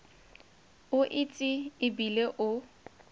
o itse e bile o